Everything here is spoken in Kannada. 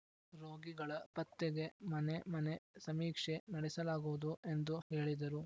ರೋಗಿಗಳ ಪತ್ತೆಗೆ ಮನೆ ಮನೆ ಸಮೀಕ್ಷೆ ನಡೆಸಲಾಗುವುದು ಎಂದು ಹೇಳಿದರು